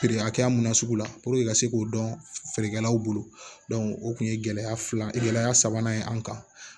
Feere hakɛya mun na sugu la ka se k'o dɔn feerekɛlaw bolo o kun ye gɛlɛya fila ye gɛlɛya sabanan ye an kan